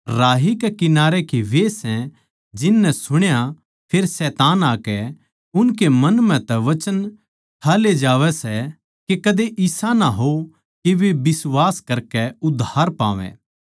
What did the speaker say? राही कै किनारै के वे सै जिन नै सुण्या फेर शैतान आकै उनकै मन म्ह तै वचन ठा ले जावै सै के कदे इसा ना हो के वे बिश्वास करकै उद्धार पावै